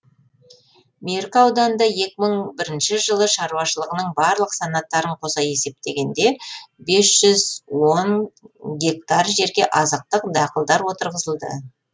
меркі ауданында екі мың бірінші жылы шаруашылығының барлық санаттарын қоса есептегенде бес жүз он гектар жерге азықтық дақылдар отырғызылды